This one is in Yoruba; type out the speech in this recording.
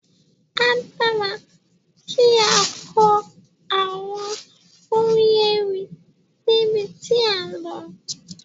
A dára kí á kọ àwọn orin ewì níbi tí à ń lọ.